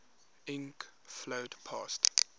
ink flowed past